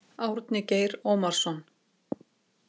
Árni Geir Ómarsson.